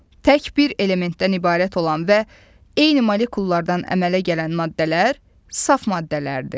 Tək bir elementdən ibarət olan və eyni molekullardan əmələ gələn maddələr saf maddələrdir.